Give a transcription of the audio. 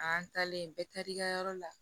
An taalen bɛɛ taar'i ka yɔrɔ la